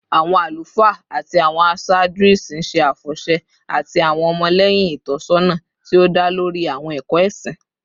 Awọn alufaa ati awọn aṣaaju isin ṣe afọṣẹ ati awọn ọmọlẹhin itọsọna ti o da lori awọn ẹkọ ẹsin